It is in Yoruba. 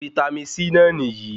Vítámì C náà nìyí